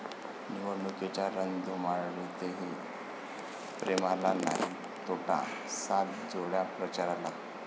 निवडणुकीच्या रणधुमाळीतही प्रेमाला नाही तोटा, सात जोड्या प्रचाराला!